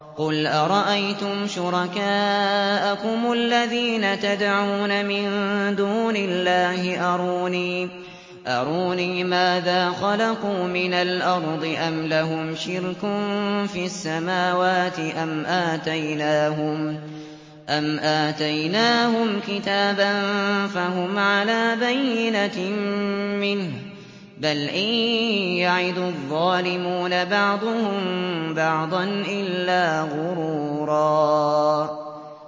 قُلْ أَرَأَيْتُمْ شُرَكَاءَكُمُ الَّذِينَ تَدْعُونَ مِن دُونِ اللَّهِ أَرُونِي مَاذَا خَلَقُوا مِنَ الْأَرْضِ أَمْ لَهُمْ شِرْكٌ فِي السَّمَاوَاتِ أَمْ آتَيْنَاهُمْ كِتَابًا فَهُمْ عَلَىٰ بَيِّنَتٍ مِّنْهُ ۚ بَلْ إِن يَعِدُ الظَّالِمُونَ بَعْضُهُم بَعْضًا إِلَّا غُرُورًا